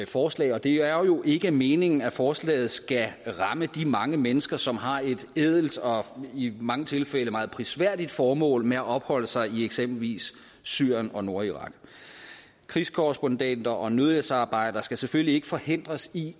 forslag og det er jo ikke meningen at forslaget skal ramme de mange mennesker som har et ædelt og i mange tilfælde meget prisværdigt formål med at opholde sig i eksempelvis syrien og nordirak krigskorrespondenter og nødhjælpsarbejdere skal selvfølgelig ikke forhindres i